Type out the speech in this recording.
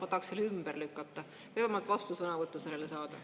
Ma tahaks selle ümber lükata või vähemalt vastusõnavõttu sellele saada.